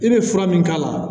I bɛ fura min k'a la